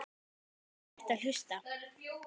Ég hætti að hlusta.